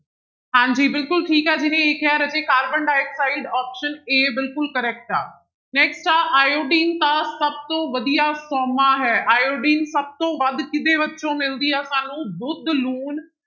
ਹਾਂਜੀ ਬਿਲਕੁਲ ਠੀਕ ਹੈ ਜਿਹਨੇ a ਕਿਹਾ ਰਾਜੇ ਕਾਰਬਨ ਡਾਇਕਆਕਸਾਇਡ option a ਬਿਲਕੁਲ correct ਆ next ਆ ਆਇਓਡੀਨ ਦਾ ਸਭ ਤੋਂ ਵਧੀਆ ਸੋਮਾ ਹੈ, ਆਇਓਡੀਨ ਸਭ ਤੋਂ ਵੱਧ ਕਿਹਦੇ ਵਿੱਚੋਂ ਮਿਲਦੀ ਆ ਸਾਨੂੰ ਦੁੱਧ, ਲੂਣ